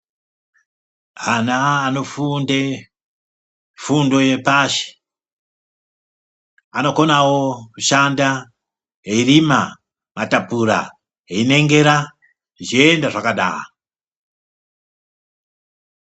Ana anofunde fundo yepashi, anokonavo kushanda eirima matapura eingengera zvichienda zvakadaro.